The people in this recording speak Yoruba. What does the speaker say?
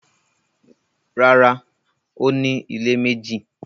Rárá, ó ní ilé méjì